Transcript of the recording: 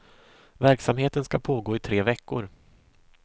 Verksamheten ska pågå i tre veckor.